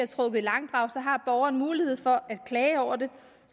trukket i langdrag har borgeren mulighed for at klage over det